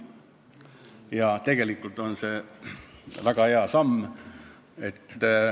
Ja tegelikult on see väga hea samm.